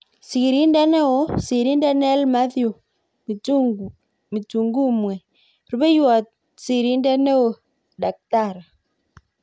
Sirindet neoo(sirindet nell Methew Mtigumwe. Rupeiywot sirindet neoo-Dkt